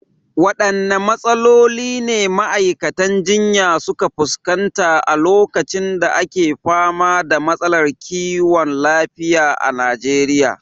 Waɗanne matsaloli ne ma’aikatan jinya suka fuskanta a lokacin da ake fama da matsalar kiwon lafiya a Najeriya?